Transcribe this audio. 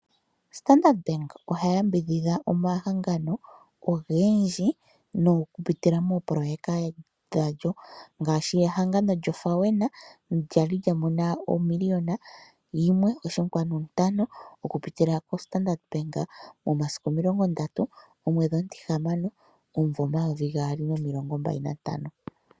Standard Bank oha yambidhidha omahangano ogendji oku pitila moopoloyeka dhawo, ngaashi ehangano lyo FAWENA lyali lya mono omiliyona yimwe oshinkwanu ntano oku pitila ko Standard Bank momasiku 30/06/2025.